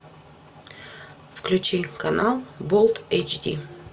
включи канал болт эйчди